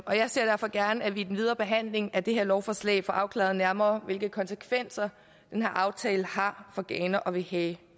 og jeg ser derfor gerne at vi i den videre behandling af det her lovforslag får afklaret nærmere hvilke konsekvenser den her aftale har for ghana og vil have